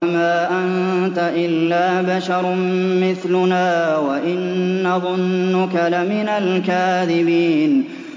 وَمَا أَنتَ إِلَّا بَشَرٌ مِّثْلُنَا وَإِن نَّظُنُّكَ لَمِنَ الْكَاذِبِينَ